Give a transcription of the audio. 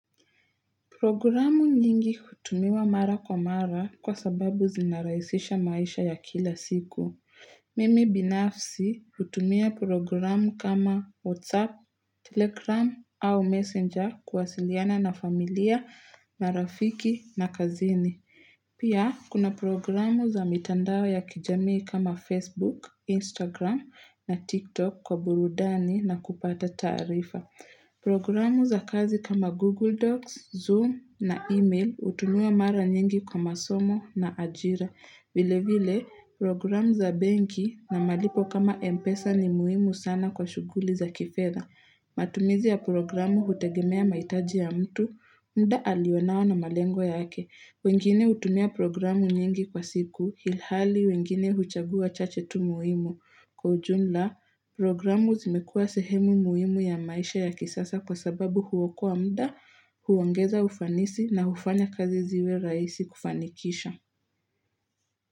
Programu nyingi hutumiwa mara kwa mara, kwa sababu zinarahisisha maisha ya kila siku. Mimi binafsi hutumia programu kama WhatsApp, Telegram au Messenger kuwasiliana na familia, marafiki na kazini. Pia, kuna programu za mitandao ya kijamii kama Facebook, Instagram na TikTok kwa burudani na kupata taarifa. Programu za kazi kama Google Docs, Zoom na email hutumiwa mara nyingi kwa masomo na ajira. Vile vile programu za benki na malipo kama Mpesa ni muhimu sana kwa shughuli za kifedha matumizi ya programu hutegemea mahitaji ya mtu muda alionao na malengwa yake, wengine hutumia programu nyingi kwa siku ilhali wengine huchagua chache tu muhimu. Kwa ujumla, programu zimekuwa sehemu muhimu ya maisha ya kisasa kwa sababu huokoa muda huongeza ufanisi na hufanya kazi ziwe rahisi kufanikisha.